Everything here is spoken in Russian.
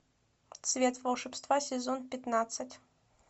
цвет волшебства сезон пятнадцать